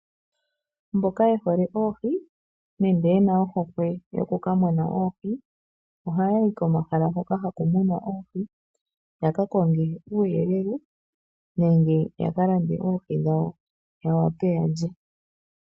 Mboka ye hole oohi nenge yena ohokwe yokuka mona oohi, ohaa yi komahala hoka haku munwa oohi, yaka konge uuyelele nenge yaka lande oohi dhawo ya wape okulya.